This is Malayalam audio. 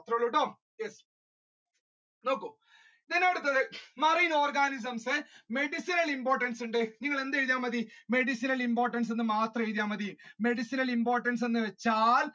ഇത്രൊള്ളുട്ടോ yes നോക്കൂ ഇതിന്റെ അടുത്തത് marine organisms ന് medicinal importance ണ്ട് നിങ്ങളെന്ത്‌ എഴുതിയാൽ മതി medicinal importance എന്ന് മാത്രം എഴുതിയാൽ മതി. medicinal importance എന്ന് വെച്ചാൽ